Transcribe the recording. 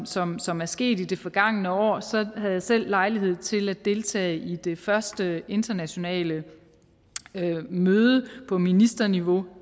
som som er sket i det forgangne år så havde jeg selv lejlighed til at deltage i det første internationale møde på ministerniveau